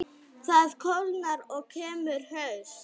Það kólnar og kemur haust.